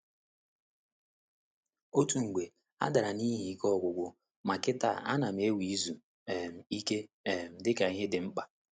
Otu mgbe, a dara n’ihi ike ọgwụgwụ, ma kịta, a na'm ewere izu um ike um dika ihe dị mkpa.